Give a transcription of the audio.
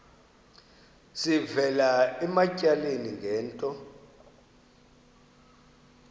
sivela ematyaleni ngento